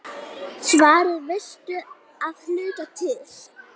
Svarið veistu að hluta til.